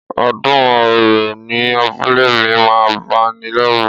Ọdún òrò ní abúlé mi máa ń bani lẹ́rù